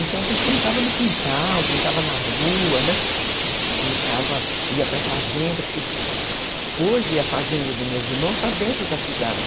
Então a gente brincava no quintal, brincava na rua, né, brincava, ia para a fazenda, porque hoje a fazenda dos meus irmãos está dentro da cidade.